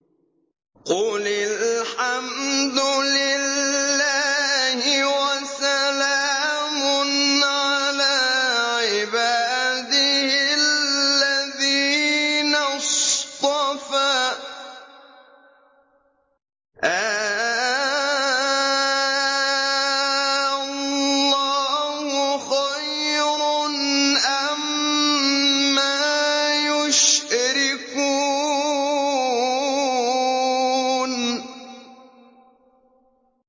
قُلِ الْحَمْدُ لِلَّهِ وَسَلَامٌ عَلَىٰ عِبَادِهِ الَّذِينَ اصْطَفَىٰ ۗ آللَّهُ خَيْرٌ أَمَّا يُشْرِكُونَ